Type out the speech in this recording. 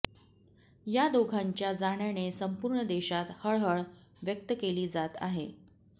या दोघांच्या जाण्याने संपुर्ण देशात हळहळ व्यक्त केली जात आहे